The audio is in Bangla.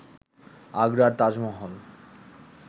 আগ্রার তাজমহল